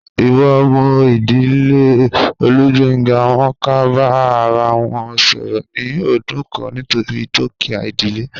Iwo mo idile Olugbenga, won ko ba ara won soro ni odun kan nitori dukia idile.